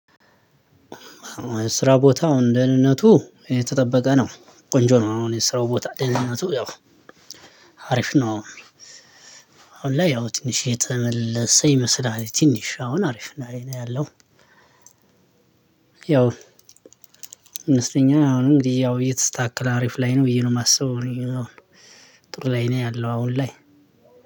ስራ ቦታው አሁን ደህንነቱ የተጠበቀ ነው ቆነጆ ነው አሁን የስራው ቦታ ጤንነቱ ያው አሪፍ ነው። አሁን ለይያው ትንሽ የተመለሰ ይመስላል ትንሽ አሁን አሪፍ ላይ ነው ያለው። ያው ይመስለኛል አሁን እንግዲህ ያው እየተስተካከለ አሪፍ ላይ ነው ብዬ ነው የማስበው። ጥሩ ላይ ነው ያለው አሁን ላይ